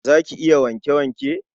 Za ki yi wanke-wanke?